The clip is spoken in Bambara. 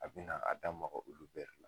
A bi na a da maka olu bɛɛ de la.